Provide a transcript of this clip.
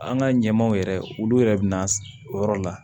An ka ɲɛmaaw yɛrɛ olu yɛrɛ bɛ na o yɔrɔ la